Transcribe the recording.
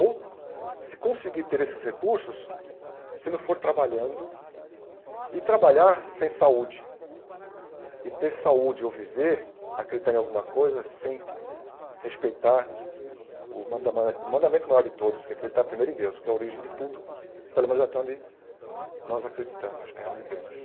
Ou se conseguir ter esses recursos, se não for trabalhando, e trabalhar sem saúde, e ter saúde ou viver, acreditar em alguma coisa, sem respeitar o mandaman mandamento maior de todos, que é acreditar primeiro em Deus, que é a origem de tudo, pelo menos até onde nós acreditamos né, onde vemos.